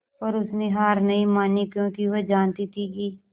पर उसने हार नहीं मानी क्योंकि वह जानती थी कि